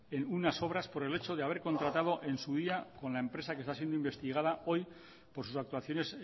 en unas obras por el hecho de haber contratado en su día con la empresa que está siendo investigada hoy por sus actuaciones